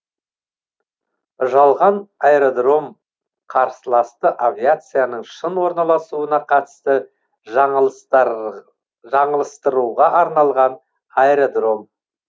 жалған аэродром қарсыласты авиацияның шын орналасуына қатысты жаңылыстыруға арналған аэродром